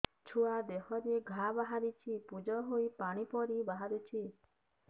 ଛୁଆ ଦେହରେ ଘା ବାହାରିଛି ପୁଜ ହେଇ ପାଣି ପରି ବାହାରୁଚି